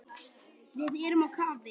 Við erum á kafi.